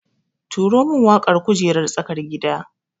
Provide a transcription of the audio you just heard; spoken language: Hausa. Turo min waƙar kujererar tsakar gida